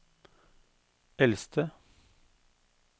eldste